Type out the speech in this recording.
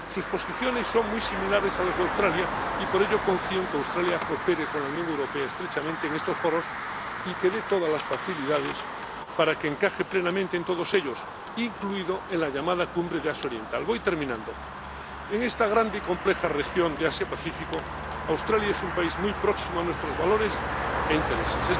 sus posiciones son muy similares a las de Australia, y por ello confío en que Australia coopere con la Unión Europea estrechamente en estos foros y que dé todas las facilidades para que encaje plenamente en todos ellos, incluida la llamada Cumbre de Asia Oriental. En esta grande y compleja región de Asia Pacífico, Australia es un país muy próximo a nuestros valores e intereses